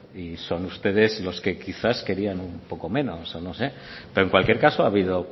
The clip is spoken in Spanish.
y son ustedes los que quizás querían un poco menos o no sé pero en cualquier caso ha habido